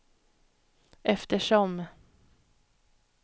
eftersom